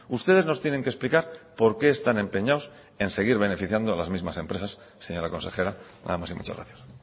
ustedes nos tienen que explicar por qué están empeñados en seguir beneficiando a las mismas empresas señora consejera nada más y muchas gracias